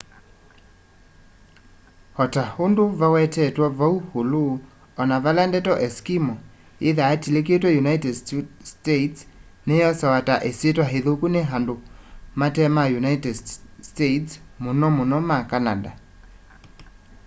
o ta undũ vawetetwe vau ulu ona vala ndeto eskimo yithaa yitikilitwe united states ni yosawa ta isitwa ithuku ni andu mate ma united states mũno mũno ma canada